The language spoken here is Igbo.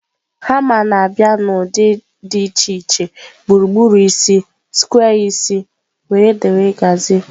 Hama na-abịa n'ụdị dị iche iche gburugburu isi, square isi wdg